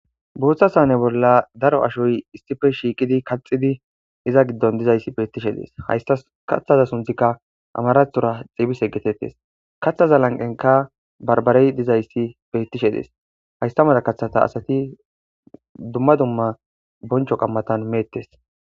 Booththa sane bolla daro ashoy issife shiiqidi kaxidi iza giddon dizayssi beettishe dees haysta kaththaza sunthikka amarathora xiibis eggetettes kathaza lanqenka barbarey dizayssi beettishe dees haystamada kaththata asati dumma dumma boncho qammatan meettes.